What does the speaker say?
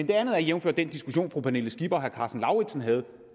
det andet er jævnfør den diskussion som fru pernille skipper og herre karsten lauritzen havde